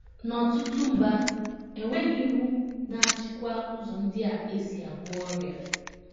N’ọtụtụ mba, e nweghị iwu na - achịkwa ụzọ ndị a e si agwọ ọrịa.